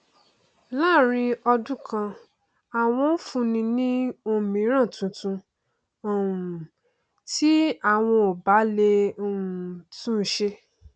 láàrin ọdún kan àwọn ó fúnni ní òmíran tuntun um tí àwọn ò bá lè um tún un ṣe